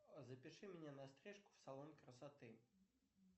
запиши меня на стрижку в салон красоты